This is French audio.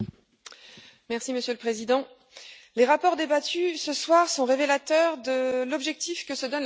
Monsieur le Président, les rapports débattus ce soir sont révélateurs de l'objectif que se donne la commission FEMM.